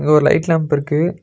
இங்க ஒரு light lamp இருக்கு.